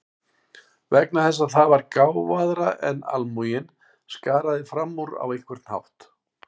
Vegna þess að það var gáfaðra en almúginn, skaraði fram úr á einhvern hátt.